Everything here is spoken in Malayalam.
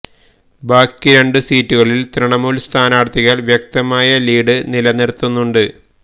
ബാക്കി രണ്ട് സീറ്റുകളില് ത്രിണമൂല് സ്ഥാനാര്ത്ഥികള് വ്യക്തമായ ലീഡ് നിലനിര്ത്തുന്നുണ്ട്